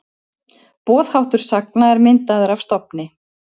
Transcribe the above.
Boðháttur sagna er myndaður af stofni.